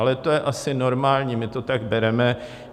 Ale to je asi normální, my to tak bereme.